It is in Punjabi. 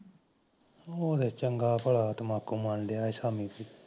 ਉਹ ਚੰਗਾ ਭਲਾ ਤੰਬਾਕੂ ਮਲ ਰਿਹਾ ਸੀ ਸ਼ਾਮੀ